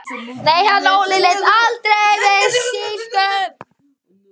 Nei, hann Óli leit aldrei við slíku.